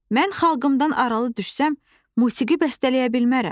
Mən xalqımdan aralı düşsəm, musiqi bəstələyə bilmərəm."